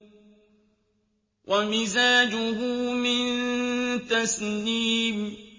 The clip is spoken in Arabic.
وَمِزَاجُهُ مِن تَسْنِيمٍ